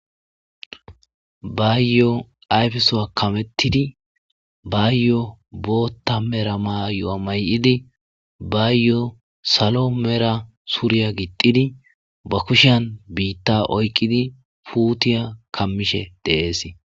bayyoo ayfesowa kamettidi bayyo boota mera may7o7a may7idi bayyo salo mera suriya gixidi ba kushan biitta oyqqidi puutiya kammishe deees